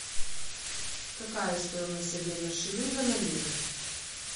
какая стоимость обмена шилинга на лиры